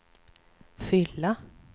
fylla